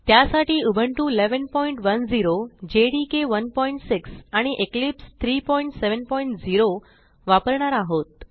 त्यासाठी Ubuntu 1110 JDK 16 आणि Eclipse 370 वापरणार आहोत